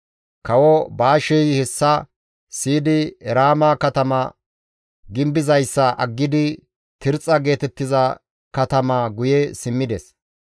Kawo Baashey hessa siyidi Eraama katama gimbizayssa aggidi Tirxxa geetettiza katamaa guye simmides.